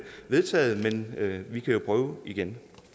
vedtaget men vi kan jo prøve igen